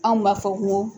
Anw b'a fɔ ko